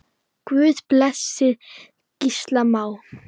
Guð blessi Gísla Má.